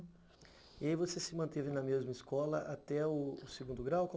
E aí você se manteve na mesma escola até o segundo grau?